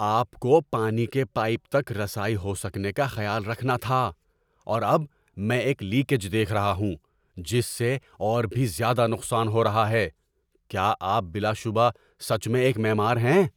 آپ کو پانی کے پائپ تک رسائی ہو سکنے کا خیال رکھنا تھا اور اب میں ایک لیکیج دیکھ رہا ہوں جس سے اور بھی زیادہ نقصان ہو رہا ہے! کیا آپ بلا شبہ سچ میں ایک معمار ہیں؟